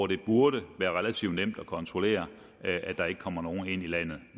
det burde være relativt nemt at kontrollere at der ikke kommer nogen ind i landet